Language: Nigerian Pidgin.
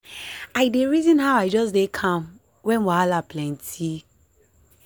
i dey reason how i just dey calm when wahala plenty.